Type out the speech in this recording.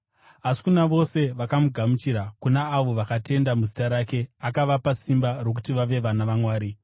Asi kuna vose vakamugamuchira, kuna avo vakatenda muzita rake, akavapa simba rokuti vave vana vaMwari,